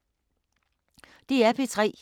DR P3